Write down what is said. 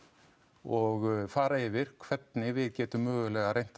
og fara yfir hvernig við getum möguleg reynt að